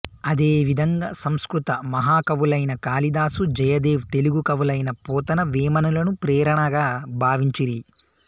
అదేవిధంగా సంస్కృత మహాకవులైన కాళిదాసు జయదేవ్ తెలుగు కవులైన పోతన వేమనలను ప్రేరణగా భావించిరి